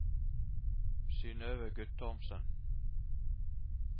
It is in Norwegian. Synøve Guttormsen